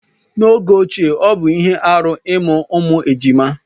n'oge ochie ọ bụ ihe arụ ịmụ ụmụ ejima